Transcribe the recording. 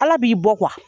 Ala b'i bɔ